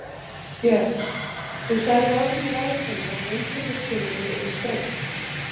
Björn: Þú sagðir áðan í ræðu þinni að inntökuskilyrði yrðu ströng?